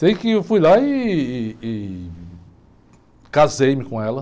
Sei que eu fui lá e, e, e casei-me com ela.